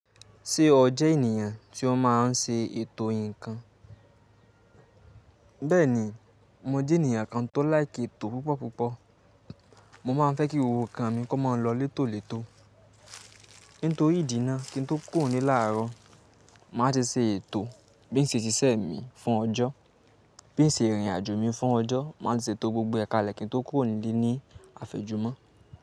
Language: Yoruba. Ṣé o jẹ ènìyàn tí ó máa ń ṣe ètò nǹkan? Bẹ́ẹ̀ni, mo jẹ ènìyàn kan tó laiki ètò púpọ̀púpọ̀. Mo máa ń fẹ́ kí gbogbo nkan mi kó máa lọ létòlètó. Nítorí ìdí náà, kín tó kúrò nile làárọ̀, màá ti ṣe ètò bín ṣe ṣiṣẹ́ mi fún ọjọ́, bín ṣe ìrìnàjò mi fún ọjọ́, màá ti ṣètò gbogbo ẹ̀ kale kín tó kúrò ní ilé ní àfẹ́jùmọ́